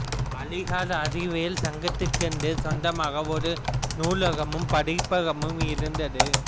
அலிகார் அறிவியல் சங்கத்திற்கென்று சொந்தமாக ஒரு நூலகமும் படிப்பகமும் இருந்தது